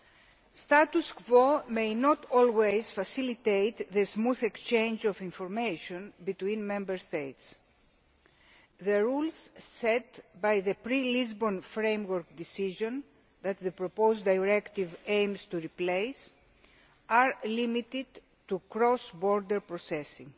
The status quo may not always facilitate the smooth exchange of information between Member States. The rules set by the pre Lisbon Framework Decision that the proposed Directive aims to replace are limited to cross border processing.